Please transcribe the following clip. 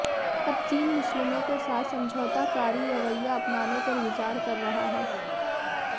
अब चीन मुस्लिमों के साथ समझौताकारी रवैया अपनाने पर विचार कर रहा है